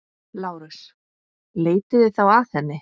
LÁRUS: Leitið þá að henni.